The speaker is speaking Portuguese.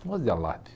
Não gosto de alarde